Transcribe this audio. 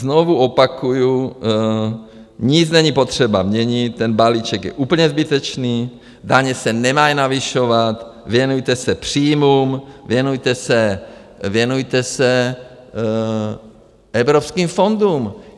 Znovu opakuji, nic není potřeba měnit, ten balíček je úplně zbytečný, daně se nemají navyšovat, věnujte se příjmům, věnujte se evropským fondům.